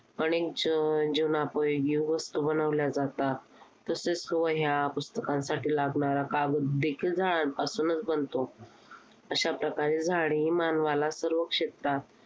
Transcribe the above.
अनेक जीवनजीवनोपयोगी वस्तू बनवल्या जातात. तसेच वह्या पुस्तकांसाठी लागणार कागददेखील झाडांपासूनच बनतो. अशा प्रकारे झाडे मानवाला सर्वक्षेत्रात